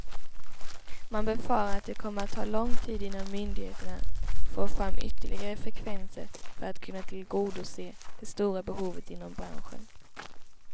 Man befarar att det kommer att ta lång tid innan myndigheterna får fram ytterliggare frekvenser för att kunna tillgodose det stora behovet inom branschen.